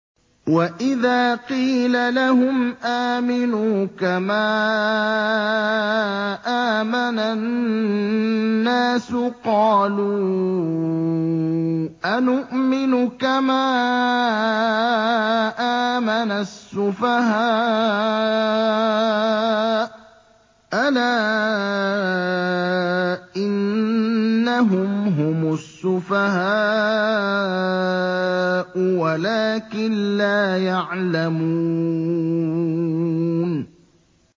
وَإِذَا قِيلَ لَهُمْ آمِنُوا كَمَا آمَنَ النَّاسُ قَالُوا أَنُؤْمِنُ كَمَا آمَنَ السُّفَهَاءُ ۗ أَلَا إِنَّهُمْ هُمُ السُّفَهَاءُ وَلَٰكِن لَّا يَعْلَمُونَ